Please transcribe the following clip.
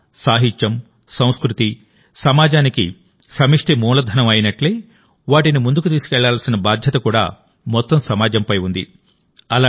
కళ సాహిత్యం సంస్కృతి సమాజానికి సమష్టి మూలధనం అయినట్లే వాటిని ముందుకు తీసుకువెళ్లాల్సిన బాధ్యత కూడా మొత్తం సమాజంపై ఉంది